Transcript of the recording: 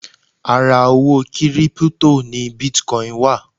Ara owó kírípútò ni bitcon wà